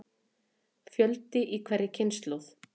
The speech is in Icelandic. Fjöldi í hverri kynslóð.